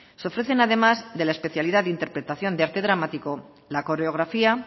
se ofrecen además de la especialidad de interpretación de arte dramático la coreografía